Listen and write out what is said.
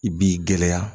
I b'i gɛlɛya